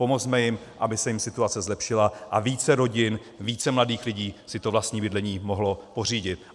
Pomozme jim, aby se jim situace zlepšila a více rodin, více mladých lidí si to vlastní bydlení mohlo pořídit.